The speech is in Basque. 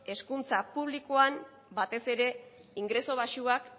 hezkuntza publikoan batez ere ingresu baxuak